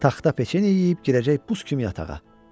Taxta peçeni yeyib girəcək buz kimi yatağa.